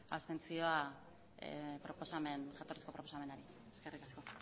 abstentzioa proposamen jatorrizko proposamenari eskerrik asko